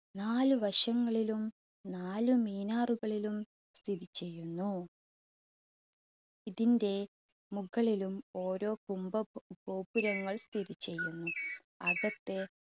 നാല് വശങ്ങളിലും നാല് മിനാറുകളിലും സ്ഥിതിചെയ്യുന്നു. ഇതിന്റെ മുകളിലും ഓരോ കുംഭഗോ~ഗോപുരങ്ങൾ സ്ഥിതിചെയ്യുന്നു. അകത്തെ